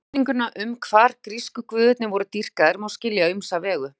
Spurninguna um hvar grísku guðirnir voru dýrkaðir má skilja á ýmsa vegu.